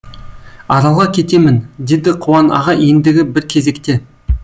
аралға кетемін деді қуан аға ендігі бір кезекте